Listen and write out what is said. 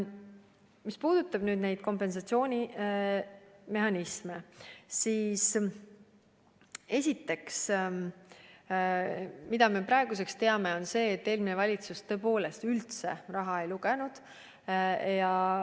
Mis puudutab kompensatsioonimehhanisme, siis üks asi, mida me praeguseks teame, on see, et eelmine valitsus tõepoolest üldse raha ei lugenud.